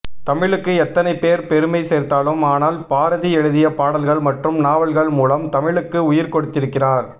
தமிழுக்கு எத்தனை பேர் பெருமை சேர்த்தாலும் ஆனால் பாரதி எழுதிய பாடல்கள் மற்றும் நாவல்கள் மூலம் தமிழுக்கு உயிர் கொடுத்திருக்கிறார்